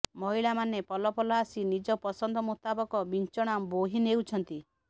ମହିଳାମାନେ ପଲ ପଲ ଆସି ନିଜ ପସନ୍ଦ ମୁତାବକ ବିଞ୍ଚଣା ବୋହି ନେଉଛନ୍ତି